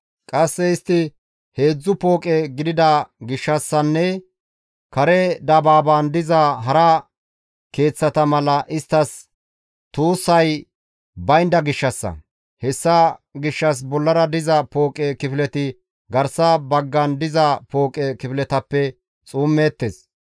Qasse istti heedzdzu pooqe gidida gishshassanne kare dabaaban diza hara keeththata mala isttas tuussay baynda gishshassa; hessa gishshas bollara diza pooqe kifileti garsa baggan diza pooqe kifiletappe xuummeettes.